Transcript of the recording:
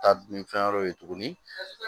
Taa ni fɛn wɛrɛw ye tuguni